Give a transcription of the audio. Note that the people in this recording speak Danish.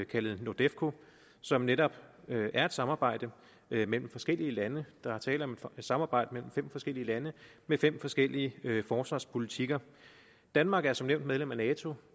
kaldet nordefco som netop er et samarbejde mellem forskellige lande der er tale om et samarbejde mellem fem forskellige lande med fem forskellige forsvarspolitikker danmark er som nævnt medlem af nato